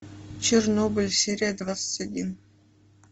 чернобыль серия двадцать один